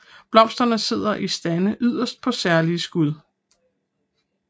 Blomsterne sidder i stande yderst på særlige skud